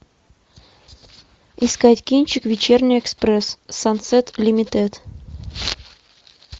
искать кинчик вечерний экспресс сансет лимитед